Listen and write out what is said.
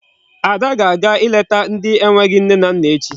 Ada ga-aga ileta ndị enweghị nne na nna echi.